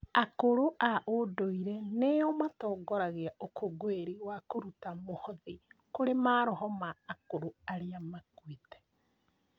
Akũrũ a ũndũire nĩo matongoragia ũkũngũĩri wa kũruta mũhothi kũrĩ maroho ma akũrũ arĩa makuĩte.